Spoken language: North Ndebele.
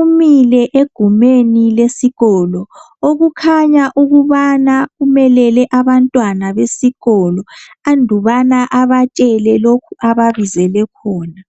umile egumeni lesikolo okukhanya ukubana umelele abantwana besikolo andubana abatshele lokhu ababizele khona.